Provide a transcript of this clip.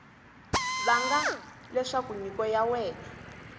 vanga leswaku nyiko ya wena